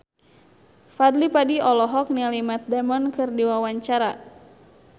Fadly Padi olohok ningali Matt Damon keur diwawancara